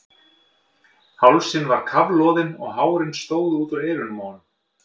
Hálsinn var kafloðinn og hárin stóðu út úr eyrunum á honum.